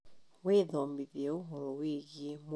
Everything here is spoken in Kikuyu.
Wĩthomithie ũhoro wĩgwĩ mũrĩre mwega wa ciana